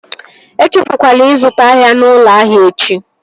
E echefukwala ịzụta ahịa n'ụlọ ahịa echi!